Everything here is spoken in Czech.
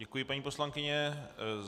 Děkuji, paní poslankyně.